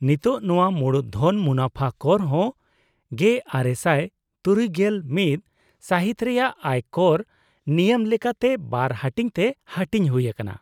-ᱱᱤᱛᱳᱜ ᱱᱚᱶᱟ ᱢᱩᱲᱩᱫ ᱫᱷᱚᱱ ᱢᱩᱱᱟᱹᱯᱷᱟ ᱠᱚᱨ ᱦᱚᱸ ᱑᱙᱖᱑ ᱥᱟᱹᱦᱤᱛ ᱨᱮᱭᱟᱜ ᱟᱭ ᱠᱚᱨ ᱱᱤᱭᱟᱹᱢ ᱞᱮᱠᱟᱛᱮ ᱵᱟᱨ ᱦᱟᱹᱴᱤᱧ ᱛᱮ ᱦᱟᱹᱴᱤᱧ ᱦᱩᱭᱟᱠᱟᱱᱟ ᱾